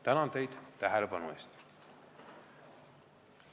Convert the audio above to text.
Tänan teid tähelepanu eest!